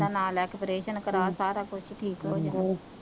ਕਰਵਾਉਣਾ ਪੈਣ ਤੂ ਰੱਬ ਦਾ ਨਾਂ ਲੈਕੇ ਪ੍ਰੇਸ਼ਨ ਕਰਾ ਸਾਰਾ ਕੁੱਛ ਠੀਕ ਹੋ ਜਾਣਾ,